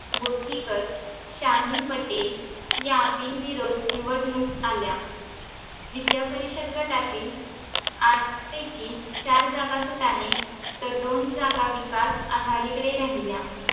बोथीकर शाहिनपट्टे या बिनविरोध निवडणूक आल्या विद्यापरिषद गटातील आठ पैकी चार जागा फुटाणे तर तर दोन जागा विकास आघाडीकडे राहिल्या